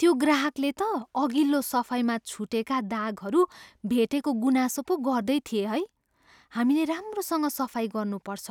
त्यो ग्राहकले त अघिल्लो सफाइमा छुटेका दागहरू भेटेको गुनासो पो गर्दै थिए है। हामीलेे राम्रोसँग सफाइ गर्नुपर्छ।